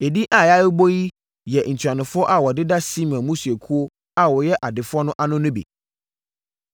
Edin a yɛabobɔ yi yɛ ntuanofoɔ a wɔdeda Simeon mmusuakuo a wɔyɛ adefoɔ no ano no bi.